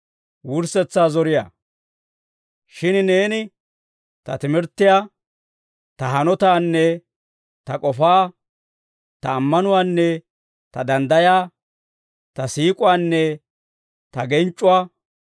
Shin neeni ta timirttiyaa, ta hanotaanne ta k'ofaa, ta ammanuwaanne ta danddayaa, ta siik'uwaanne ta genc'c'uwaa,